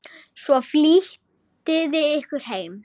Svo flýtiði ykkur heim.